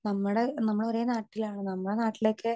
speaker 2 നമ്മടെ നമ്മള് ഒരേ നാട്ടിലാണ് നമ്മടെ നാട്ടിലൊക്കെ